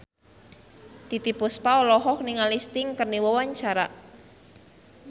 Titiek Puspa olohok ningali Sting keur diwawancara